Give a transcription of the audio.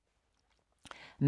DR P2